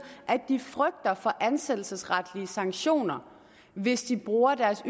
at de frygter for ansættelsesretlige sanktioner hvis de bruger deres